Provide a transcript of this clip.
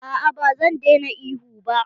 A'a ba zan daina ihu ba.